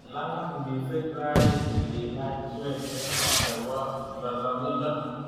Lalang missing raini ngilach swetet nebo lolongindo